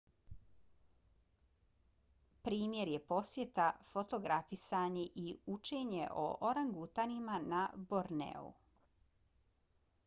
primjer je posjeta fotografisanje i učenje o orangutanima na borneu